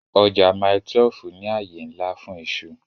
Ọjà Mile 12 ní àyè ńlá fún iṣu